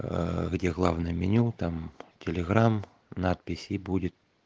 аа где главное меню там телеграм надпись и будет